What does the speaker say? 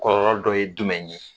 Kɔlɔlɔ dɔ ye jumɛn ye?